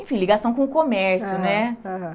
Enfim, ligação com o comércio, né? Aham, aham.